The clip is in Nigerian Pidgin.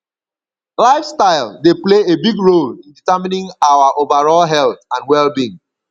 lifestyle dey play a big role in determining our overall health and wellbeing